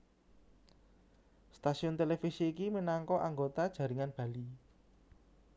Stasiun televisi iki minangka anggota jaringan Bali